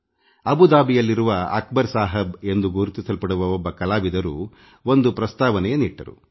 ಅಬುದಾಬಿಯಲ್ಲಿರುವ ಅಕ್ಬರ್ ಸಾಹಬ್ ಎಂಬ ಕಲಾವಿದರು ಒಂದು ಪ್ರಸ್ತಾವನೆಯನ್ನಿಟ್ಟರು